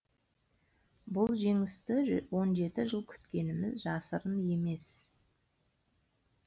бұл жеңісті он жеті жыл күткеніміз жасырын емес